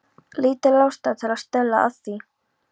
Lítil ástæða til að stuðla að því.